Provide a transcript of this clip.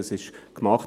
Das wurde gemacht.